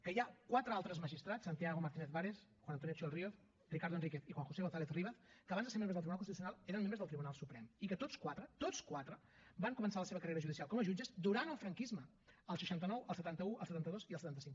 que hi ha quatre altres magistrats santiago martínez vares juan antonio xiol ríos ricardo enrique i juan josé gonzález rivas que abans de ser membres del tribunal constitucional eren membres del tribunal suprem i que tots quatre tots quatre van començar la seva carrera judicial com a jutges durant el franquisme el seixanta nou el setanta un el setanta dos i el setanta cinc